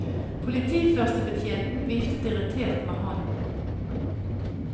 Politiførstebetjenten viftet irritert med hånda.